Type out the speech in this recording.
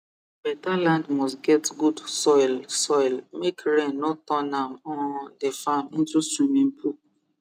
beta land must get good soil soil make rain no turn um d farm into swimming pool